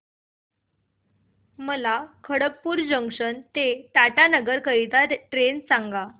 मला खडगपुर जंक्शन ते टाटानगर करीता ट्रेन सांगा